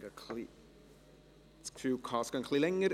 Ich hatte gedacht, es dauere etwas länger.